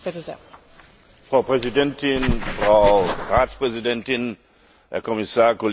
Frau Präsidentin, Frau Ratspräsidentin, Herr Kommissar, Kolleginnen und Kollegen!